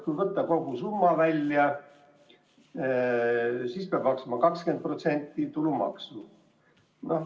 Kui võtta kogu summa välja, siis peab maksma 20% tulumaksu.